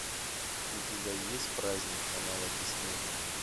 у тебя есть праздник канала дисней